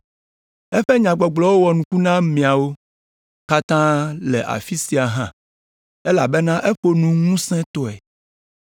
Eƒe nyagbɔgblɔwo wɔ nuku na ameawo katã le afi sia hã, elabena eƒo nu ŋusẽtɔe.